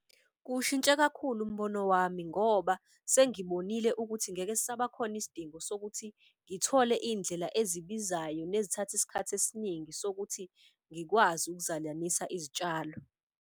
Kuwushintshe kakhulu umbono wami ngoba sengibonile ukuthi ngeke sisaba khona isidingo sokuthi ngithole iy'ndlela ezibizayo nezithatha isikhathi esiningi sokuthi ngikwazi ukuzalanisa izitshalo.